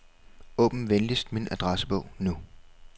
Åbn venligst min adressebog nu.